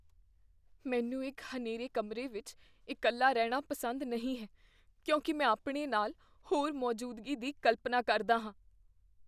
ਮੈਨੂੰ ਇੱਕ ਹਨੇਰੇ ਕਮਰੇ ਵਿੱਚ ਇਕੱਲਾ ਰਹਿਣਾ ਪਸੰਦ ਨਹੀਂ ਹੈ ਕਿਉਂਕਿ ਮੈਂ ਆਪਣੇ ਨਾਲ ਹੋਰ ਮੌਜੂਦਗੀ ਦੀ ਕਲਪਨਾ ਕਰਦਾ ਹਾਂ।